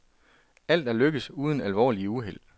Alt er lykkedes uden alvorlige uheld.